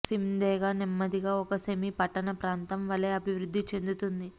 సిమ్దేగా నెమ్మదిగా ఒక సెమీ పట్టణ ప్రాంతం వలె అభివృద్ధి చెందుతుంది